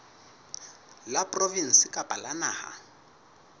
la provinse kapa la naha